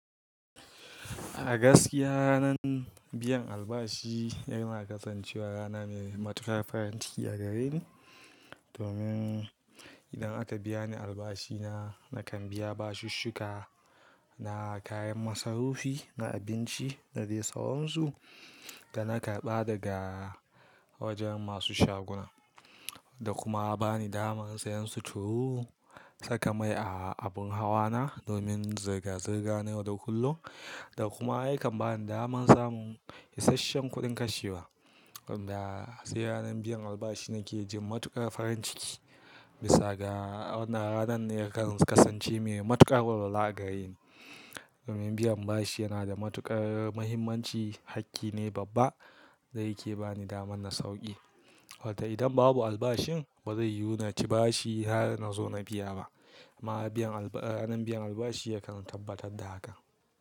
A gaskiya ranan biyan albashi yana kasancewa rana mai matuƙar farin ciki a gareni. Domin idan aka biya ni albashina, nakan biya bashin shuka na, kayan masarufi na abinci da dai tsawonsu da na karɓa daga wajen masu shaguna. Da kuma bani daman sayan suturu saka mai a abun hawa na domin zirga-zirga na yaudau kullum. Da kuma yakan bani daman samun isasshen kuɗin kashewa. Wanda sai ranan biyan albashi nake jin matuƙar farin ciki. Bisa ga wannan ranan ne kan kasance mai matuƙar walwala a gareni. Domin biyan bashi yana da matuƙar muhimmanci, hakki ne babba dai yake bani daman na sauƙi. Wata idan babu albashin ba zai yuna ci bashi har na zo na biya ba. Ma ranan biyan albashi yake kan tabbatar da haka.